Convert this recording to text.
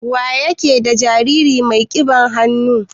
Waye ke ɗa jariri mai kiɓan hannu?